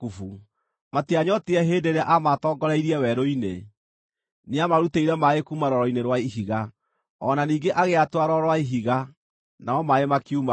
Matianyootire hĩndĩ ĩrĩa aamatoongoreirie werũ-inĩ; nĩamarutĩire maaĩ kuuma rwaro-inĩ rwa ihiga; o na ningĩ agĩatũra rwaro rwa ihiga, namo maaĩ makiuma ho.